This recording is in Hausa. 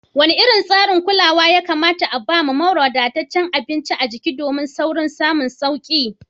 Wane irin tsarin kulawa ya kamata a bawa mara wadataccen abinci a jiki domin saurin samun sauki?